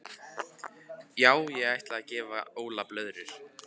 Já ég ætla að gefa Óla blöðrur.